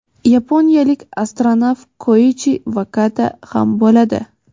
yaponiyalik astronavt Koichi Vakata ham bo‘ladi.